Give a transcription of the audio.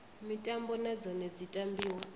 mitambo na dzone dzi tambiwa